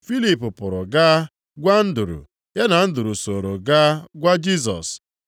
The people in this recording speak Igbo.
Filip pụrụ gaa gwa Andru, ya na Andru sooro gaa gwa Jisọs.